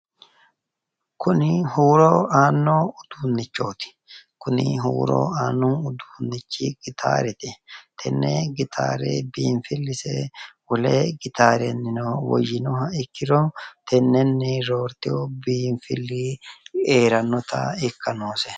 Kuni huuro aanno uduunnichooti. Kuni huuro aanno uduunnichi gitaarete. Tenne gitaare biinfillise wole gitaarenni woyyinoha ikkiro tennenni roortino biinfilli heerannota ikka noose .